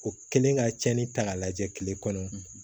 O kɛlen ka tiɲɛni ta k'a lajɛ kile kɔnɔ